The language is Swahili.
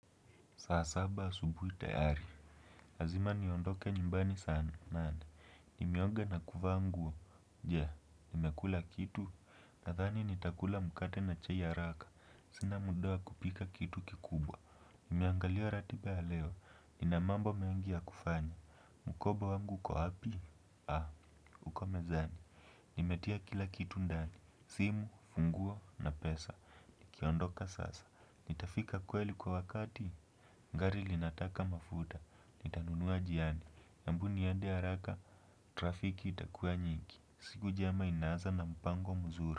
Saasaba asubuhi teari, lazima niondoke nyumbani sana, nane. Nimeonga na kufa nguo, je, nimekula kitu. Nathani nitakula mukate na chai haraka, sina muda kupika kitu kikubwa. Nimeangalia ratiba ya leo, inamambo mengi ya kufanya. Mukoba wangu kuhapi, ah, uko mezani. Nimetia kila kitu ndani, simu, funguo na pesa. Kiondoka sasa, nitafika kweli kwa wakati. Ngari linataka mafuta, nitanunua jiani, ambu niende haraka, trafiki itakua nyigi, siku njema inaza na mpango mzuri.